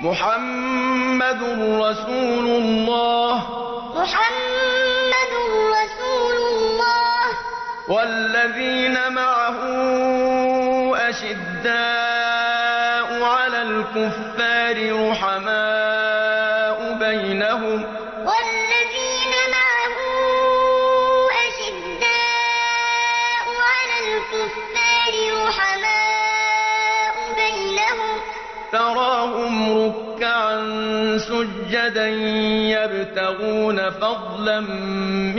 مُّحَمَّدٌ رَّسُولُ اللَّهِ ۚ وَالَّذِينَ مَعَهُ أَشِدَّاءُ عَلَى الْكُفَّارِ رُحَمَاءُ بَيْنَهُمْ ۖ تَرَاهُمْ رُكَّعًا سُجَّدًا يَبْتَغُونَ فَضْلًا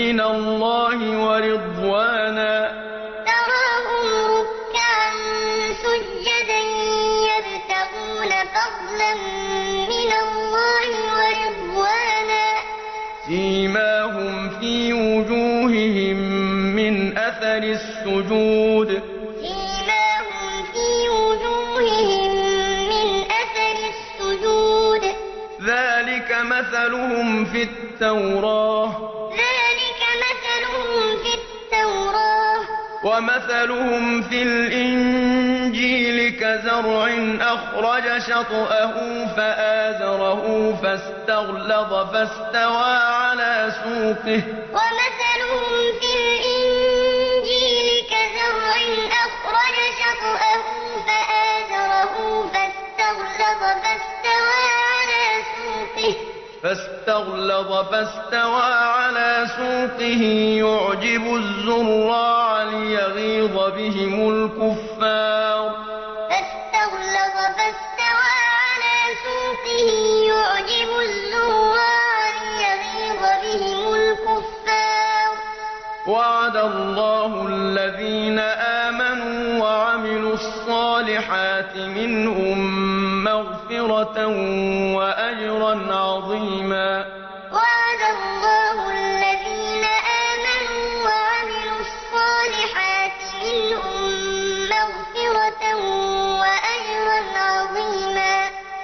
مِّنَ اللَّهِ وَرِضْوَانًا ۖ سِيمَاهُمْ فِي وُجُوهِهِم مِّنْ أَثَرِ السُّجُودِ ۚ ذَٰلِكَ مَثَلُهُمْ فِي التَّوْرَاةِ ۚ وَمَثَلُهُمْ فِي الْإِنجِيلِ كَزَرْعٍ أَخْرَجَ شَطْأَهُ فَآزَرَهُ فَاسْتَغْلَظَ فَاسْتَوَىٰ عَلَىٰ سُوقِهِ يُعْجِبُ الزُّرَّاعَ لِيَغِيظَ بِهِمُ الْكُفَّارَ ۗ وَعَدَ اللَّهُ الَّذِينَ آمَنُوا وَعَمِلُوا الصَّالِحَاتِ مِنْهُم مَّغْفِرَةً وَأَجْرًا عَظِيمًا مُّحَمَّدٌ رَّسُولُ اللَّهِ ۚ وَالَّذِينَ مَعَهُ أَشِدَّاءُ عَلَى الْكُفَّارِ رُحَمَاءُ بَيْنَهُمْ ۖ تَرَاهُمْ رُكَّعًا سُجَّدًا يَبْتَغُونَ فَضْلًا مِّنَ اللَّهِ وَرِضْوَانًا ۖ سِيمَاهُمْ فِي وُجُوهِهِم مِّنْ أَثَرِ السُّجُودِ ۚ ذَٰلِكَ مَثَلُهُمْ فِي التَّوْرَاةِ ۚ وَمَثَلُهُمْ فِي الْإِنجِيلِ كَزَرْعٍ أَخْرَجَ شَطْأَهُ فَآزَرَهُ فَاسْتَغْلَظَ فَاسْتَوَىٰ عَلَىٰ سُوقِهِ يُعْجِبُ الزُّرَّاعَ لِيَغِيظَ بِهِمُ الْكُفَّارَ ۗ وَعَدَ اللَّهُ الَّذِينَ آمَنُوا وَعَمِلُوا الصَّالِحَاتِ مِنْهُم مَّغْفِرَةً وَأَجْرًا عَظِيمًا